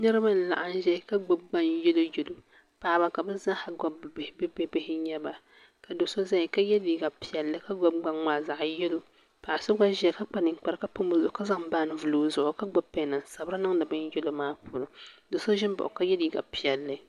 Niriba n laɣim ʒɛya ka gbibi bin'yelo yelo paɣaba ka bɛ zaaha gbibi bɛ bihi bibihi n nyɛba ka do'so zaya ka ye liiga piɛlli a gbibi gbaŋ maa zaɣa yelo paɣa so n ʒɛya ka kpa ninkpara ka pam o zuɣu ka zaŋ bini vili o zuɣu ka gbibi peni n sabiri niŋdi bini yelo maa puuni do'so ʒimbaɣi o ka ye liiga piɛlli.